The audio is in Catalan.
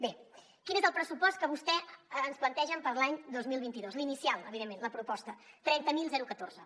bé quin és el pressupost que vostès ens plantegen per a l’any dos mil vint dos l’inicial evidentment la proposta trenta mil catorze